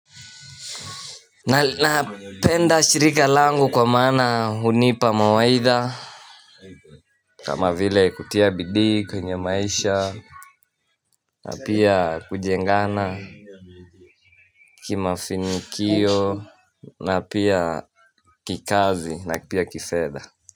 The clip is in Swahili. Napenda shirika langu kwa maana hunipa mawaidha kama vile kutia bidii kwenye maisha na pia kujengana kima finikio na pia kikazi na pia kifedha.